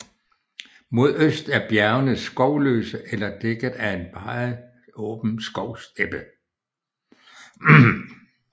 Mod øst er bjergene skovløse eller dækket af en meget åben skovsteppe